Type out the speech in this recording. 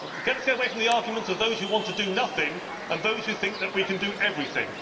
Let us get away from the arguments of those who want to do nothing, and those who think that we can do everything.